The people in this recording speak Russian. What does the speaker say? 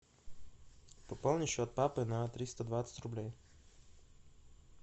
пополни счет папы на триста двадцать рублей